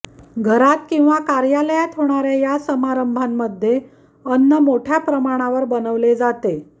घरात किंवा कार्यालयात होणाऱ्या या समारंभांमध्ये अन्न मोठय़ा प्रमाणावर बनवले जाते